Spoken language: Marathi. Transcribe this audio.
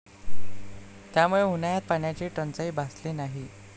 त्यामुळे उन्हाळ्यात पाण्याची टंचाई भासली नाही.